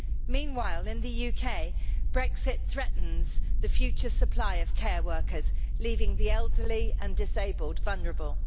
Meanwhile, in the UK, Brexit threatens the future supply of care workers, leaving the elderly and disabled vulnerable.